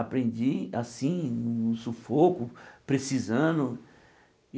Aprendi assim, no sufoco, precisando.